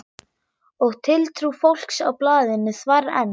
Og tiltrú fólks á blaðinu þvarr enn.